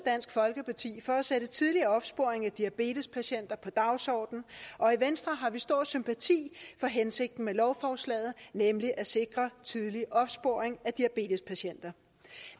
dansk folkeparti for at sætte tidlig opsporing af diabetespatienter på dagsordenen og i venstre har vi stor sympati for hensigten med lovforslaget nemlig at sikre tidlig opsporing af diabetespatienter